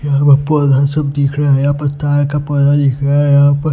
यहां पर पौधा सब दिख रहा है यहां पर तार का पौधा दिख रहा है यहां पर--